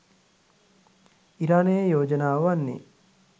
ඉරානයේ යෝජනාව වන්නේ